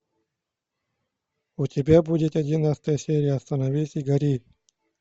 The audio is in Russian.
у тебя будет одиннадцатая серия остановись и гори